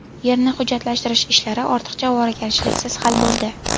Yerni hujjatlashtirish ishlari ortiqcha ovoragarchiliksiz hal bo‘ldi.